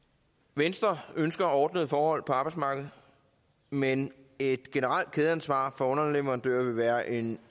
venstre ønsker ordnede forhold på arbejdsmarkedet men et generelt kædeansvar for underleverandører vil være en